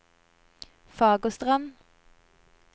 Fagerstrand